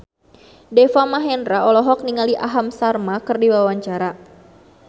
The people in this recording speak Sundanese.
Deva Mahendra olohok ningali Aham Sharma keur diwawancara